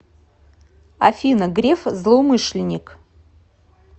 афина греф злоумышленник